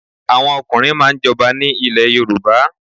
Àwọn ọ̀kùnrin máà ń jọba ni ilẹ̀ Yorùbá